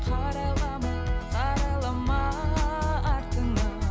қарайлама қарайлама артыңа